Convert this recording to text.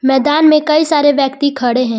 मैदान में कई सारे व्यक्ति खड़े हैं।